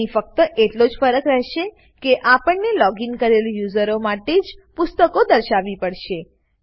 અહીં ફક્ત એટલો જ ફરક રહેશે કે આપણને લોગીન કરેલ યુઝરો માટે જ પુસ્તકો દર્શાવવી પડશે